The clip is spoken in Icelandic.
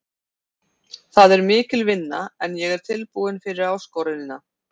Það er mikil vinna en ég er tilbúinn fyrir áskorunina.